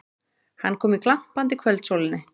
Hann kom í glampandi kvöldsólinni.